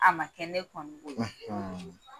A ma kɛ ne kɔni bolo